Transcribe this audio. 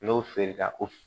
N'o feere la o